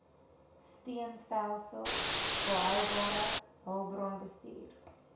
steunstelsels volhoubare hulpbronbestuur